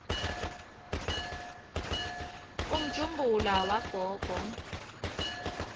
umjumbula wagogo